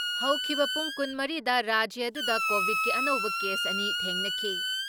ꯍꯧꯈꯤꯕ ꯄꯨꯡ ꯲꯴ ꯗ ꯔꯥꯖ꯭ꯌ ꯑꯗꯨꯗ ꯀꯣꯚꯤꯠꯀꯤ ꯑꯅꯧꯕ ꯀꯦꯁ ꯑꯅꯤ ꯊꯦꯡꯅꯈꯤ